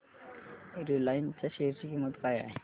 Reliance च्या share ची किंमत काय आहे